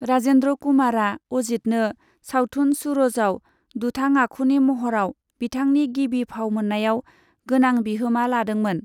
राजेन्द्र कुमारा अजितनो सावथुन सूरजआव दुथां आखुनि महराव बिथांनि गिबि फाव मोन्नायाव गोनां बिहोमा लादोंमोन।